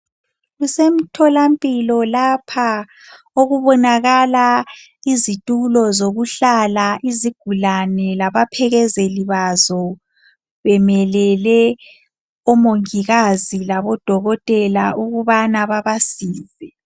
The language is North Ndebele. Kusemtholampilo lapha okubonakala izitulo zokuhlala izigulane labaphekezeli bazo bemelele omongikazi labodokotela ukubana babasize.